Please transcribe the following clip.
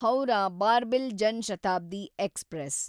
Howrah Barbil Jan Shatabdi express